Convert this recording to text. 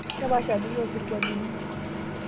kepaasha bei orsirwalini